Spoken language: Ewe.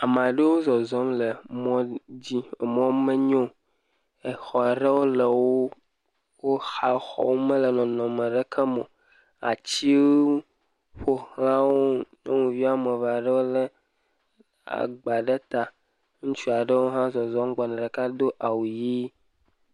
Ame aɖewo zɔzɔm le mɔ dzi, emɔ menyo, exɔ ɖewo le wo xa, exɔwo mele nɔnɔme ɖeke me o, atiwo ƒo xla wo, nyɔnuvi woame eve aɖewo lé agba ɖe ta, ŋutsu aɖewo hã zɔzɔm gbɔna, ɖeka do awu ʋɛ̃.